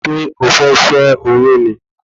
Ṣé o fẹ́ ṣé oyún ni